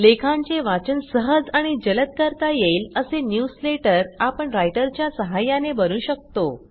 लेखांचे वाचन सहज आणि जलद करता येईल असे न्यूजलेटर आपण रायटरच्या सहाय्याने बनवू शकतो